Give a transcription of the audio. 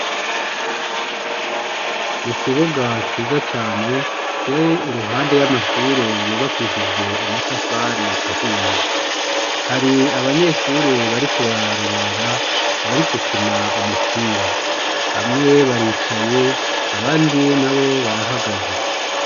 Mu kibuga ciza cane kiri iruhande y'amashure yubakishije amatafari ahiye, hari abanyeshuri bariko bararorera abari gukina umupira, bamwe baricaye abandi nabo barahagaze